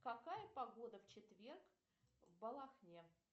какая погода в четверг в балахне